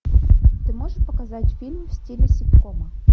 ты можешь показать фильм в стиле ситкома